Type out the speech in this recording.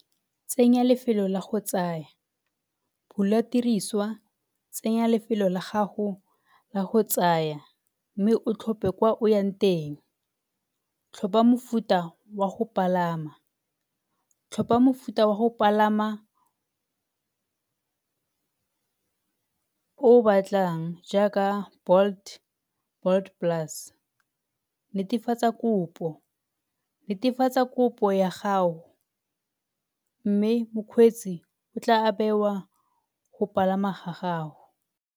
Tsenya lefelo la go tsaya, bula tiriswa, tsenya lefelo la gago la go tsaya mme o tlhophe kwa o yang teng. Tlhopha mofuta wa go palama, tlhopha mofuta wa go palama o o batlang jaaka Bolt, Bolt plus. Netefatsa kopo, netefatsa kopo ya gago mme mokgweetsi o tla go palama ga gago.